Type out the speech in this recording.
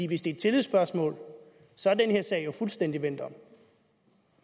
hvis det er et tillidsspørgsmål så er den her sag jo fuldstændig vendt om